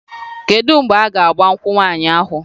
Kedu mgbe a ga-agba nkwụ nwaanyị ahụ?